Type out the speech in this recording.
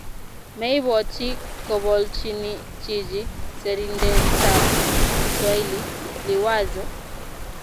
meibwoti kobolchini chichi serindetab kiswaili, Liwazo?